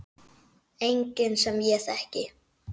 Enginn sem ég þekki.